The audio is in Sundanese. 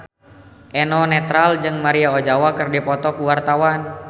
Eno Netral jeung Maria Ozawa keur dipoto ku wartawan